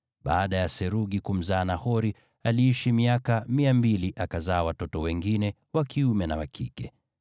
Baada ya Serugi kumzaa Nahori, aliishi miaka 200, akazaa watoto wengine wa kiume na wa kike.